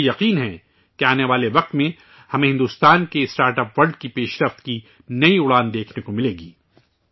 مجھے یقین ہے کہ آنے والے وقت میں ہمیں بھارت کے اسٹارٹ اپ ورلڈ کی ترقی کی نئی اڑان دیکھنے کو ملے گی